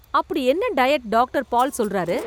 அப்படி என்ன diet doctor Paul சொல்லறாரு.